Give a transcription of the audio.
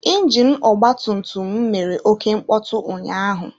Injinu ọgba tum tum m mere oké mkpọtụ ụnyaahụ.